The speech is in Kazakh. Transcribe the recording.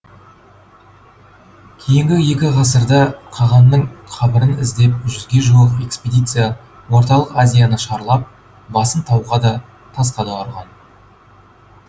кейінгі екі ғасырда қағанның қабірін іздеп жүзге жуық экспедиция орталық азияны шарлап басын тауға да тасқа да ұрған